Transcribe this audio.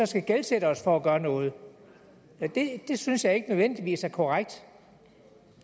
skal gældsætte os for at gøre noget det synes jeg ikke nødvendigvis er korrekt